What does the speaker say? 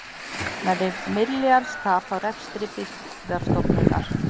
Nærri milljarðs tap á rekstri Byggðastofnunar